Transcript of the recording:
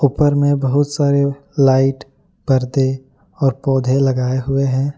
ऊपर में बहुत सारे लाइट पर्दे और पौधे लगाए हुए हैं।